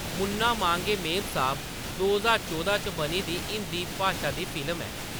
मुन्ना मांगे मेमसाब दो ज्हार चौदां च बनी दी हिंदी भाशा दी फिल्म ऐ।